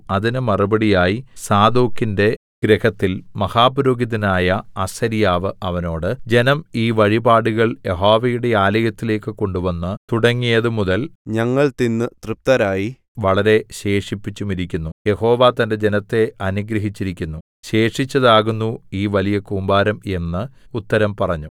അതിന് മറുപടിയായി സാദോക്കിന്റെ ഗൃഹത്തിൽ മഹാപുരോഹിതനായ അസര്യാവ് അവനോട് ജനം ഈ വഴിപാടുകൾ യഹോവയുടെ ആലയത്തിലേക്ക് കൊണ്ടുവന്ന് തുടങ്ങിയത് മുതൽ ഞങ്ങൾ തിന്ന് തൃപ്തരായി വളരെ ശേഷിപ്പിച്ചുമിരിക്കുന്നു യഹോവ തന്റെ ജനത്തെ അനുഗ്രഹിച്ചിരിക്കുന്നു ശേഷിച്ചതാകുന്നു ഈ വലിയ കൂമ്പാരം എന്ന് ഉത്തരം പറഞ്ഞു